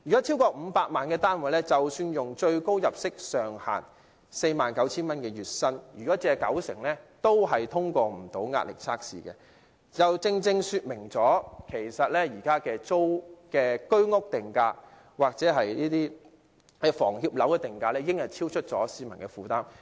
超過500萬元的單位，即使月薪達最高入息上限 49,000 元，借貸九成亦無法通過壓力測試，就正正說明現時居屋或房協樓宇的定價已超出市民的負擔。